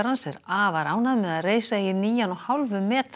er afar ánægð með að reisa eigi nýjan og hálfum metra